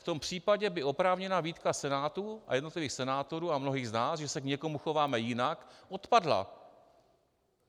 V tom případě by oprávněná výtka Senátu a jednotlivých senátorů a mnohých z nás, že se k někomu chováme jinak, odpadla.